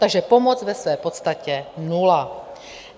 Takže pomoc ve své podstatě nula.